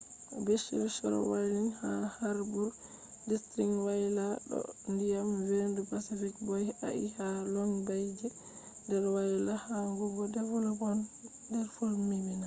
beaches shore wayla ha harbour district wayla ɗo do ndiyam vendu pacific boy ahi ha long bay je der wayla yahugo devonport der fommbina